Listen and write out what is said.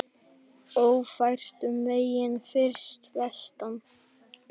Ófært um vegi fyrir vestan